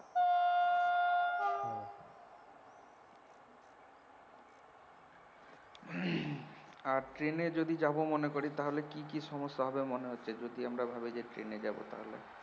আর train এ যদি যাবো মনে করি তাহলে কি কি সমস্যা হবে মনে হচ্ছে যদি আমরা ভাবি যে train এ যাবো তাহলে